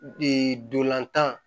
ndolantan